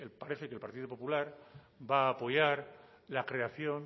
parece que el partido popular va a apoyar la creación